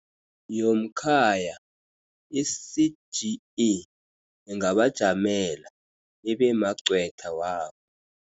YomKhaya, i-CGE ingabajamela, ibemagcwetha wabo.